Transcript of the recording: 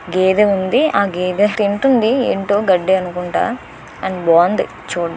గేదె ఉంది ఆ గేదె తింటుంది ఏంటో గడ్డి అనుకుంటా కానీ బావుంది చూడడానికి